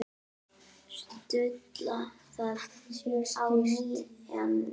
Stulla það á nýjan leik.